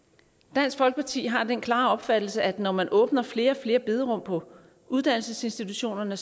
dansk folkeparti har den klare opfattelse at når man åbner flere og flere bederum på uddannelsesinstitutionerne